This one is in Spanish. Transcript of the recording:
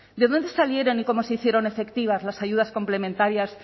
de dónde salieron y cómo se hicieron efectivas las ayudas complementarias